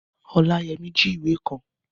Ọláyẹmí jí ìwé kan